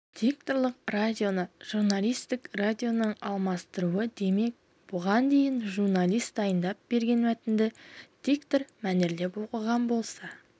дикторлық радионы журналистік радионың алмастыруы демек бұған дейін журналист дайындап берген мәтінді диктор мәнерлеп оқыған болса